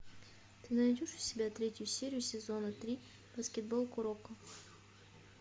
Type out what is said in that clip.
ты найдешь у себя третью серию сезона три баскетбол куроко